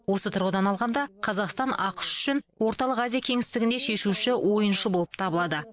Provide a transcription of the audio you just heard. осы тұрғыдан алғанда қазақстан ақш үшін орталық азия кеңістігінде шешуші ойыншы болып табылады